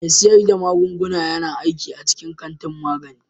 Mai sayar da magunguna yana aiki a cikin kantin magani.